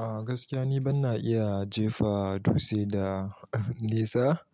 A gaskiya ni ban na iya jefa dutse da nesa